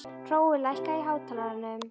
Hrói, lækkaðu í hátalaranum.